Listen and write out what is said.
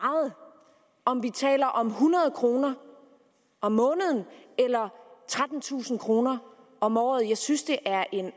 om vi taler om hundrede kroner om måneden eller trettentusind kroner om året jeg synes det er en